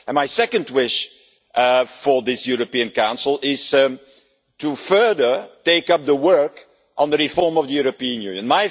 My second wish for this European Council is to further take up the work on the reform of the European Union.